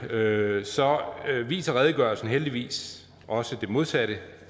hørte så viser redegørelsen heldigvis også det modsatte